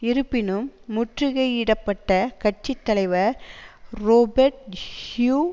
இருப்பினும் முற்றுகையிடப்பட்ட கட்சி தலைவர் றொபேர்ட் ஹியூ